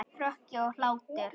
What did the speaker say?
Hroki og hlátur.